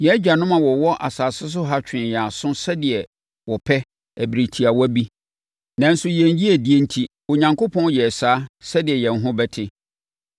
Yɛn agyanom a wɔwɔ asase so ha twee yɛn aso sɛdeɛ wɔpɛ ɛberɛ tiawa bi. Nanso, yɛn yiedie enti, Onyankopɔn yɛɛ saa sɛdeɛ yɛn ho bɛte.